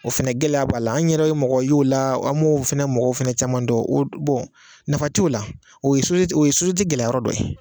O fɛnɛ gɛlɛya b'a la, an yɛrɛ ye mɔgɔ y'o la an m'o fɛnɛ mɔgɔw fɛnɛ caman don, o nafa t'o la, o ye o ye gɛlɛya yɔrɔ dɔ ye.